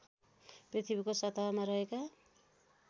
पृथ्वीको सतहमा रहेका